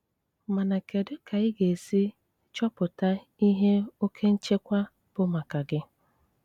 Máná kédú ká í gá-ésí chọ́pụtá íhé óké ńchékwá bụ máká gí?